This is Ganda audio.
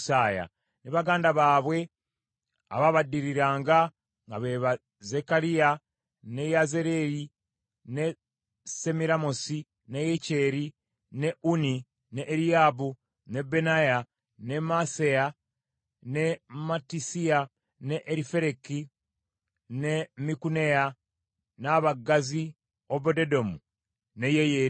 ne baganda baabwe abaabaddiriranga nga be ba Zekkaliya, ne Yaaziyeri, ne Semiramosi, ne Yeyeri, ne Unni, ne Eriyaabu, ne Benaaya, ne Maaseya, ne Mattisiya, ne Erifereku, ne Mikuneya, n’abaggazi Obededomu ne Yeyeeri,